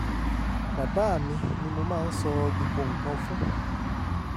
bàbá mi ni mo máa ń sọ gbogbo nǹkan fún